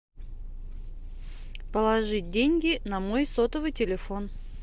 положить деньги на мой сотовый телефон